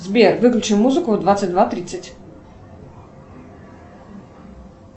сбер выключи музыку в двадцать два тридцать